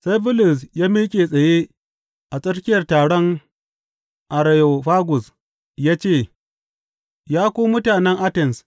Sai Bulus ya miƙe tsaye a tsakiyar taron Areyofagus ya ce, Ya ku mutanen Atens!